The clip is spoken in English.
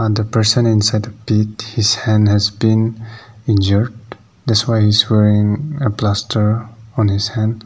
the person inside the pit his hand has been injured that's why he is wearing a plaster on his hand.